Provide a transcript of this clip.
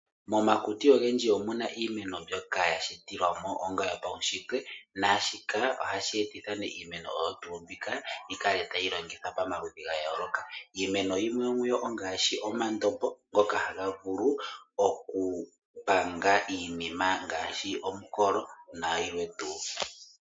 Momakuti ogemdji omu na iimeno mbyoka ya sjitilwa mo paushitwe naa shika ohashi etitha iimeno oyo tuu mbika yi kale tayi longithwa pamaludhi ga yooloka. Iimeno yimwe yomu yo ongaashi omandombo ngoka haga vulu okupanga iinima ngaashi omukolo nayilwe tuu.